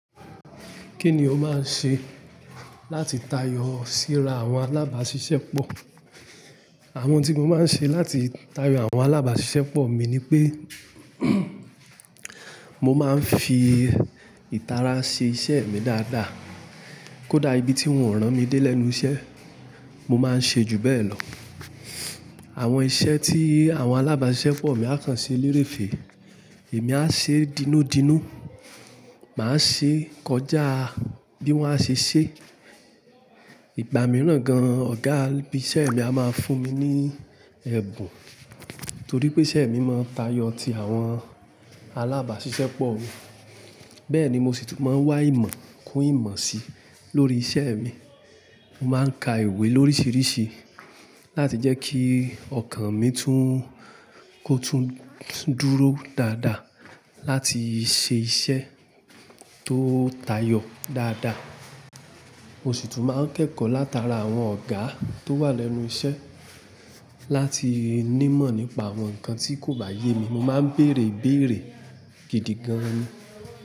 Kí ni o máa ń ṣe láti tayọ síra àwọn alábàáṣiṣẹ́ pọ̀? Àwọn tí mo máa ń ṣe láti tayọ àwọn alábàáṣiṣẹ́ pọ̀ mi ni pé, mo máa ń fi ìtara ṣe iṣẹ́ mi dáadáa. Kódà ibi tí wọn ranmi dé lẹ́nu iṣẹ́ mo máa ń ṣe ju be lọ. Àwọn iṣẹ́ tí àwọn alábàáṣiṣẹ́ pọ̀ mi á kàn ṣe léèrè fè, èmi á ṣe dínúdínú. Màá ṣe kọjá bí wọ́n a ṣe ṣe. Ìgbà mìíràn gan, ọ̀gá ibi iṣẹ́ mi a máa ń fún mi ní ẹ̀bùn. Torí pé iṣẹ́ mi máa ń tayọ ti àwọn alábàáṣiṣẹ́ pọ̀. Bẹ́ẹ̀ ni mo sì tún máa ń wá ìmọ̀ kún ìmọ̀ sí lórí iṣẹ́ mi. Mo máa ń ka ìwé lórísìíríṣìí láti jẹ́ kí ọkàn mi tún kó tún dúró dáadáa láti ṣe iṣẹ́ tó tayọ dáadáa. Mo sì tún máa ń kẹ́kọ̀ọ́ látara àwọn ọ̀gá tó wà lẹ́nu iṣẹ́ láti ní mọ̀ nípa àwọn nǹkan tí kò bá yé mi. Mo máa ń bèèrè ibèèrè gidi gan ni.